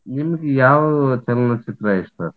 ನಿಮ್ಗ್ ಯಾವ ಚಲನಚಿತ್ರ ಇಷ್ಟಾರೀ?